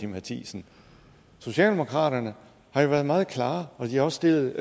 matthiesen socialdemokraterne har været meget klare og de har også stillet